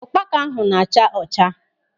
Ụkpaka ahụ na-acha ọcha.